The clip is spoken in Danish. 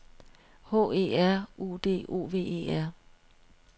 H E R U D O V E R